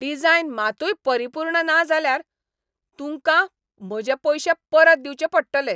Design मातूय परिपूर्ण ना जाल्यार, तूंकां म्हजे पयशे परत दिवंचे पडटले.